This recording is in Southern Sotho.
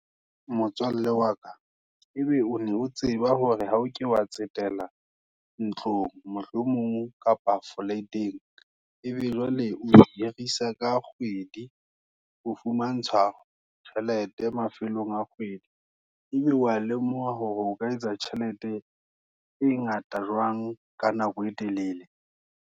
Motswalle wa ka, ebe o tseba hore ha o ke wa tsetela ntlong, mohlomong kapa flateng, ebe jwale o hirisa ka kgwedi, o fumantshwa tjhelete, mafelong a kgwedi. Ebe wa lemoha hore o ka etsa tjhelete, e ngata jwang, Ka nako e telele.